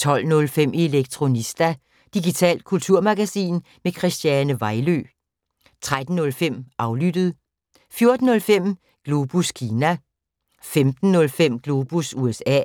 12:05: Elektronista – digitalt kulturmagasin med Christiane Vejlø 13:05: Aflyttet 14:05: Globus Kina 15:05: Globus USA